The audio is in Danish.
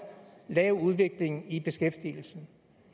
lav udvikling i beskæftigelsen